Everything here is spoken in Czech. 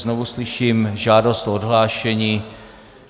Znovu slyším žádost o odhlášení.